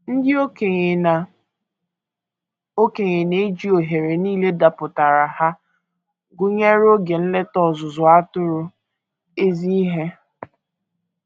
Ndị okenye na - okenye na - eji ohere nile dapụtaara ha, gụnyere oge nleta ọzụzụ atụrụ, ezi ihe.